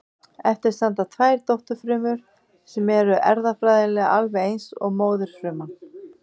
Eftir standa tvær dótturfrumur sem eru erfðafræðilega alveg eins og móðurfruman.